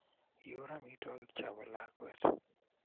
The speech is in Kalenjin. iur amitwogik cho bo lakwet